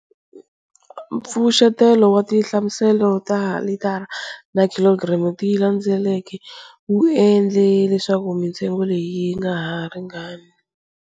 Mpfuxetelo wa tinhlamuselo ta litara na khilogiramu ti landzeleke wu endle leswaku mintsengo leyi yi ngaha ringani.